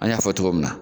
An y'a fɔ cogo min na